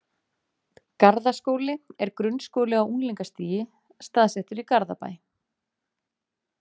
Garðaskóli er grunnskóli á unglingastigi, staðsettur í Garðabæ.